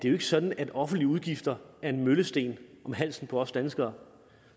er sådan at offentlige udgifter er en møllesten om halsen på os danskere